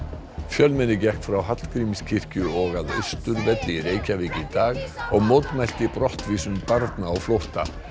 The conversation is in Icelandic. fjölmenni gekk frá Hallgrímskirkju og að Austurvelli í Reykjavík í dag og mótmælti brottvísun barna á flótta